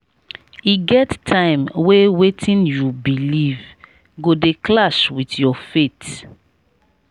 e get time wey wetin you beliv go dey clash wit your faith.